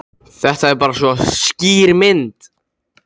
Þetta er bara svo skýr mynd.